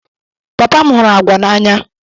Papa m hụrụ agwa n'anya